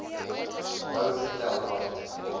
nou getel want